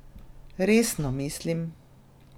Resno mislim!